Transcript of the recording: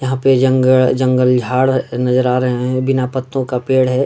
यहाँ पे जंगड़ जंगल झाड़ नजर आ रहे हैं बिना पत्तो का पेड़ है।